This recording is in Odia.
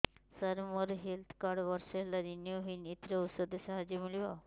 ସାର ମୋର ହେଲ୍ଥ କାର୍ଡ ବର୍ଷେ ହେଲା ରିନିଓ ହେଇନି ଏଥିରେ ଔଷଧ ସାହାଯ୍ୟ ମିଳିବ